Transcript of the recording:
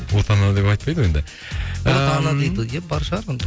отана деп айтпайды ғой енді бар шығар ондай